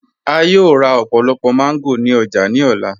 A yòò rá ọ̀pọ̀lọ̀pọ̀ mango ni ọ̀jà ni ọlá.